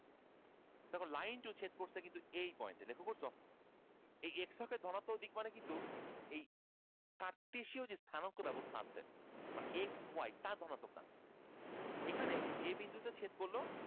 দেখো line two ছেদ করছে কিন্তু এই পয়েন্টে লক্ষ্য করছো । এতে x অক্ষের ধনাত্মক দিক মানে কিন্তু এই ব্যবস্থা আছে মানে x y তার ধনাত্মকটা এখানে বিন্দুতে ছেদ করলো